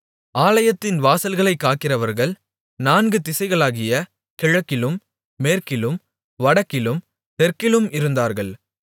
ஆலயத்தின் வாசல்களைக் காக்கிறவர்கள் நான்கு திசைகளாகிய கிழக்கிலும் மேற்கிலும் வடக்கிலும் தெற்கிலும் இருந்தார்கள்